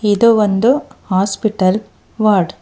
ಇದು ಒಂದು hospital ward .